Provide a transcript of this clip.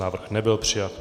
Návrh nebyl přijat.